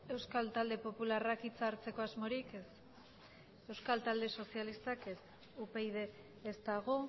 euskal talde popularrak hitza hartzeko asmorik ez euskal talde sozialistak ez upyd ez dago